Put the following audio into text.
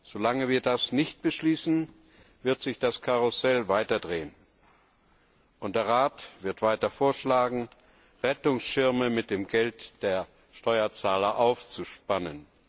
Solange wir das nicht beschließen, wird sich das Karussell weiterdrehen, und der Rat wird weiter vorschlagen, Rettungsschirme mit dem Geld der Steuerzahler aufzuspannen.